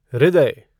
हृदय